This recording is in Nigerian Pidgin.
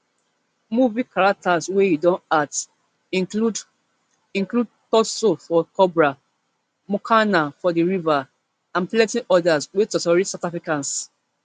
movie characters wey e don act include include thuso for cobra mokoena for the river and plenti odas wey totori south africans